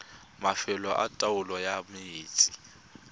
mafelo a taolo ya metsi